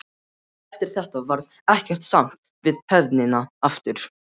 Eftir þetta varð ekkert samt við höfnina aftur.